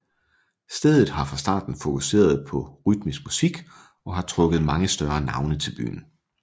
Stedet har fra starten fokuseret på rytmisk musik og har trukket mange større navne til byen